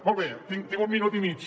molt bé tinc un minut i mig